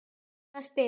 Reyna að spila!